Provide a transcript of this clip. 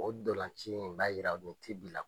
O ndolanci in b'a jira o ti bi la